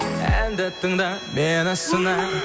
әнді тыңда мені сына